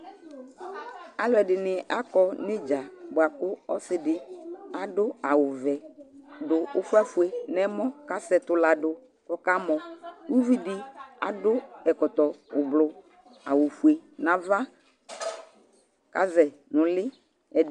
Alʋɛdɩnɩ akɔ nʋ ɩdza bʋa kʋ ɔsɩ dɩ adʋ awʋvɛ dʋ ʋfafue nʋ ɛmɔ kʋ asɛ ɛtʋ la dʋ kʋ ɔkamɔ Uvi dɩ adʋ ɛkɔtɔ ʋblʋ, awʋfue nʋ ava kʋ azɛ nʋ ʋlɩ Ɛd